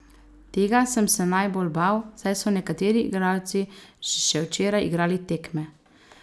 Tega sem se najbolj bal, saj so nekateri igralci še včeraj igrali tekme.